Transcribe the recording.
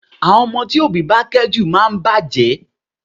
Àwọn ọmọ tí òbí bá kẹ́ jù máa ń bàjẹ́